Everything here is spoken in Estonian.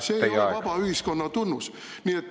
See oleks vaba ühiskonna tunnus.